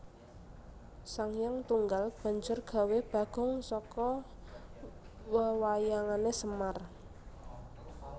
Sanghyang Tunggal banjur gawé bagong saka wewayangané Semar